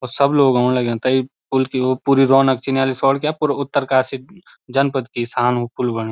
सब लोग औण लग्याँ तै पुल की उ पूरी रौनक चिन्यालीसौड़ क्या पूरो उत्तरकाशी जनपद की शान वो पुल बण्युं।